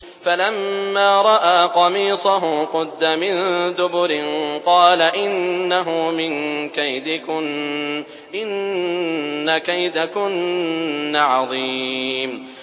فَلَمَّا رَأَىٰ قَمِيصَهُ قُدَّ مِن دُبُرٍ قَالَ إِنَّهُ مِن كَيْدِكُنَّ ۖ إِنَّ كَيْدَكُنَّ عَظِيمٌ